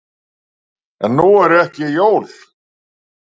En nú eru ekki jól.